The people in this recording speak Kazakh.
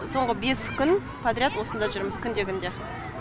соңғы бес күн подряд осында жүрміз күнде күнде